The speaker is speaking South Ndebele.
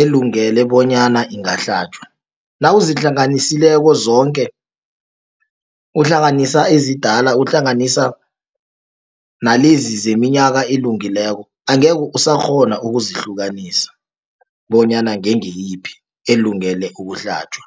elungele bonyana engahlatjwa. Nawuzihlanganisileko zonke, uhlanganisa ezidala uhlanganisa nalezi zeminyaka elungileko, angekhe usakghona ukuzihlukanisa, bonyana ngengiyiphi elungele ukuhlatjwa.